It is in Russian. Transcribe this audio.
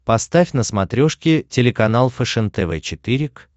поставь на смотрешке телеканал фэшен тв четыре к